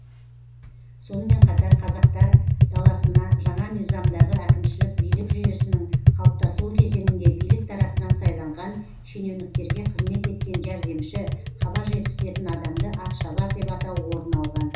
сонымен қатар қазақтар даласына жаңа мизамдағы әкімшілік билік жүйесінің қалыптасуы кезеңінде билік тарапынан сайланған шенеуніктерге қызмет еткен жәрдемші хабар жеткізетін адамды атшабар деп атау орын алған